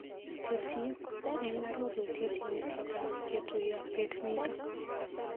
Tesyi eng arorutiet yautyetab ketuyo bet nito.